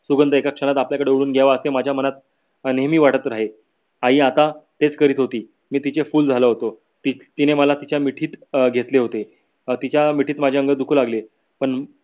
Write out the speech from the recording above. सुगंध एक क्षणात आपल्याकडे ओढून घ्यावे असे माझ्या मनात अं नेहमी वाटत रहे. आई आता तेच करीत होती मी तिचे फूल झालो होतो तिने मला तिच्या मिठीत अं घेतले होते. अं तिच्या मिठीत माझे अंग दुखू लागले पण